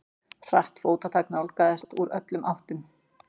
Hratt fótatak nálgaðist þá úr öllum áttum.